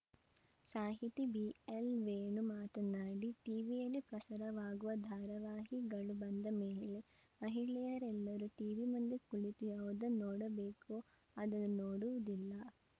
ಸಾಹಿತಿ ಬಿಎಲ್‌ವೇಣು ಮಾತನಾಡಿ ಟಿವಿಯಲ್ಲಿ ಪ್ರಸಾರವಾಗುವ ಧಾರವಾಹಿಗಳು ಬಂದ ಮೇಲೆ ಮಹಿಳೆಯರೆಲ್ಲರೂ ಟಿವಿಮುಂದೆ ಕುಳಿತು ಯಾವುದನ್ನು ನೋಡಬೇಕೋ ಅದನ್ನು ನೋಡುವುದಿಲ್ಲ